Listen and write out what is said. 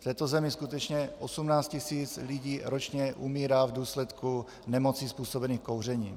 V této zemi skutečně 18 tisíc lidí ročně umírá v důsledku nemocí způsobených kouřením.